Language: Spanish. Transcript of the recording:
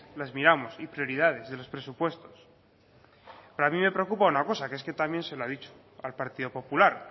las miramos y prioridades de los presupuestos pero a mí me preocupa una cosa que es que también se lo ha dicho al partido popular